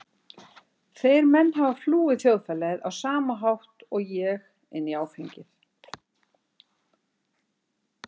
Þeir menn hafa flúið þjóðfélagið á sama hátt og ég- inn í áfengið.